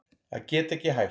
Að geta ekki hætt